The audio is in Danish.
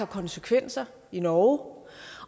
konsekvenser i norge